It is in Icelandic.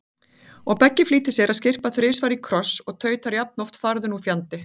Og Beggi flýtir sér að skyrpa þrisvar í kross og tautar jafnoft farðu nú fjandi